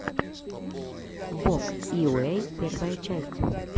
вог йуэй первая часть